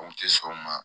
O kun tɛ sɔn o ma